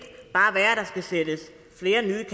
bare være at der skal sættes flere nye